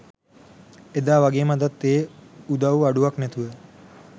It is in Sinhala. එදා වගේම අදත් ඒ උදව් අඩුවක් නැතුව